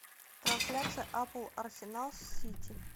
трансляция апл арсенал с сити